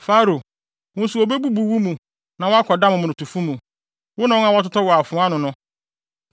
“Farao, wo nso wobebubu wo mu na woakɔda momonotofo mu, wo ne wɔn a wɔtotɔɔ wɔ afoa ano no.